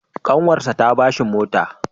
Ƙanwarsa ta ba shi mota.